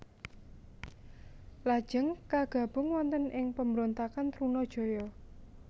Lajeng kagabung wonten ing pemberontakan Trunajaya